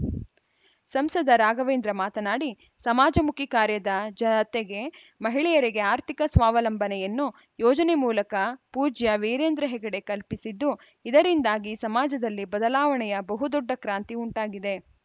ಸಂಸದ ರಾಘವೇಂದ್ರ ಮಾತನಾಡಿ ಸಮಾಜಮುಖಿ ಕಾರ್ಯದ ಜತೆಗೆ ಮಹಿಳೆಯರಿಗೆ ಆರ್ಥಿಕ ಸ್ವಾವಲಂಬನೆಯನ್ನು ಯೋಜನೆ ಮೂಲಕ ಪೂಜ್ಯ ವೀರೇಂದ್ರಹೆಗಡೆ ಕಲ್ಪಿಸಿದ್ದು ಇದರಿಂದಾಗಿ ಸಮಾಜದಲ್ಲಿ ಬದಲಾವಣೆಯ ಬಹು ದೊಡ್ಡ ಕ್ರಾಂತಿ ಉಂಟಾಗಿದೆ